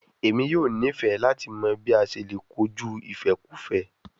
Emi yoo nifẹ lati mọ bi a ṣe le koju ifẹkufẹ